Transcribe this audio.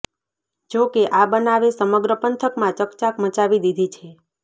જો કે આ બનાવે સમગ્ર પંથકમાં ચકચાર મચાવી દીધી છે